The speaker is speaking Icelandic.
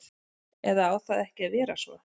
Eða á það ekki að vera svo?